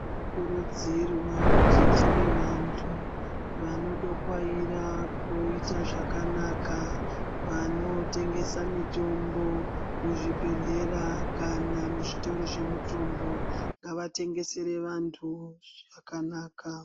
Tinokurudzirwa kuti tive vantu vanodokwaira kuita zvakanaka, vanotengesa mitombo muzvibhedhlera kana muzvitoro zvemutombo, ngavatengesere vantu zvakanaka.